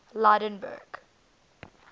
lydenburg